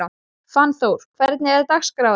Fannþór, hvernig er dagskráin?